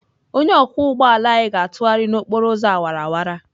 Onye ọkwọ ụgbọ ala anyị ga-atụgharị n'okporo ụzọ awara awara.